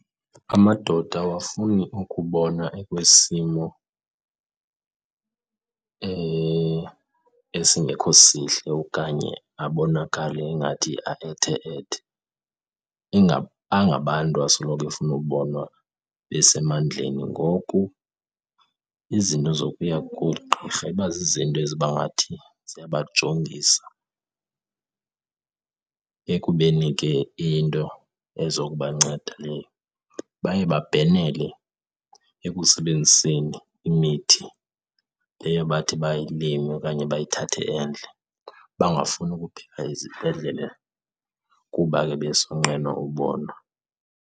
Amadoda awafuni ukubonwa ekwisimo esingekho sihle okanye abonakale ingathi aethe-ethe, angabantu asoloko befuna ubonwa besemandleni. Ngoku izinto zokuya koogqirha iba zizinto eziba ngathi ziyabajongisa ekubeni ke iyinto ezokubanceda leyo. Baye babhenele ekusebenziseni imithi leyo bathi bayilime okanye bayithathe endle, bangafuni ukubheka ezibhedlele kuba ke besonqena ubonwa.